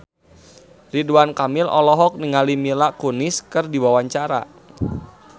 Ridwan Kamil olohok ningali Mila Kunis keur diwawancara